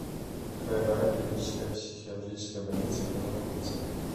краевая клиническая психиатрическая больница где находится